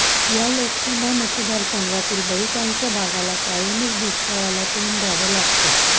या लोकसभा मतदारसंघातील बहुतांश भागाला कायमच दुष्काळाला तोंड द्यावं लागतं